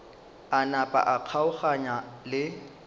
a napa a kgaogana le